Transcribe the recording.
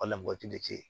Wala moti de tɛ yen